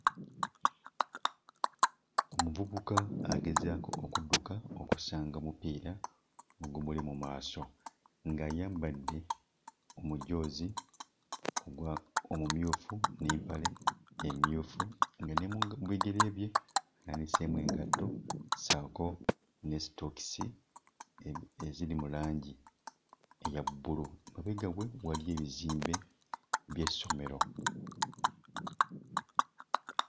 Omuvubuka agezaako okudduka okusanga mupiira ogumuli mu maaso ng'ayambadde omujoozi ogwa omumyufu n'empale emmyufu nga ne mu ga bigere bye naaniseemu engatto ssaako sitookisi e eziri mu langi eya bbulu. Mabega we waliyo ebizimbe by'essomero.